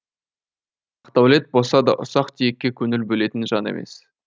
бақдәулет боса да ұсақ түйекке көңіл бөлетін жан емес